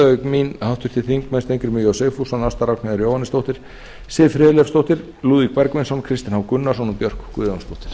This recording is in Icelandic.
auk mín háttvirtir þingmenn steingrímur j sigfússon ásta ragnheiður jóhannesdóttir siv friðleifsdóttir lúðvík bergvinsson kristinn h gunnarsson og björk guðjónsdóttir